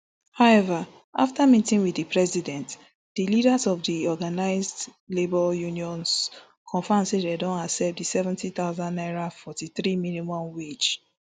however afta meeting wit di president di leaders of di organised labour unions confam say dem don accept di seventy thousand naira forty-three minimum wage